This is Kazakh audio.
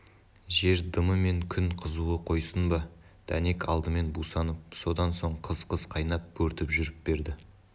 жер дымы мен күн қызуы қойсын ба дәнек алдымен бусанып содан соң қыз-қыз қайнап бөртіп жүріп берді